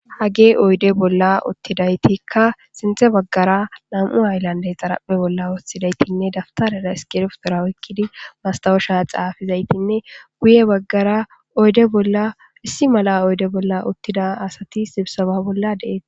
Hagge oyidde bolla uththida asatikka sinthe bagara na'u hayilandera woththidi dabtarera issikibirtora oyikidi masitawesha xafidayitanne guye bagara oyidde bolla issi malla oydde bolla uththida asati sibisebba bolla de'osona.